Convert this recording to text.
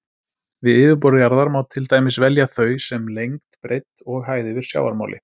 Við yfirborð jarðar má til dæmis velja þau sem lengd, breidd og hæð yfir sjávarmáli.